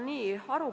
Austatud minister!